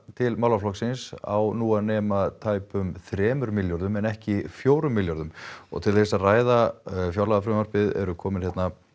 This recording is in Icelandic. til málaflokksins á nú að nema tæpum þremur milljörðum en ekki fjórum milljörðum til þess að ræða frumvarpið eru komnir